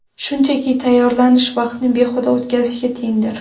Shunchaki tayyorlanish vaqtni behuda o‘tkazishga tengdir.